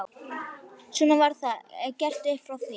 Svona var það gert upp frá því.